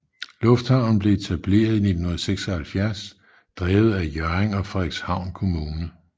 Lufthavnen blev etableret i 1976 drevet af Hjørring og Frederikshavn Kommune